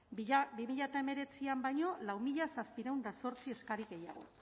bi mila hemeretzian baino lau mila zazpiehun eta zortzi eskari gehiago